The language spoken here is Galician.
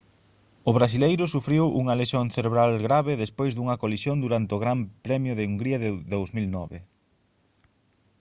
o brasileiro sufriu unha lesión cerebral grave despois dunha colisión durante o gran premio de hungría en 2009